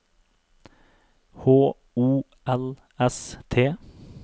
H O L S T